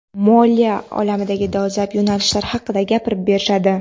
moliya olamidagi dolzarb yo‘nalishlar haqida gapirib berishadi.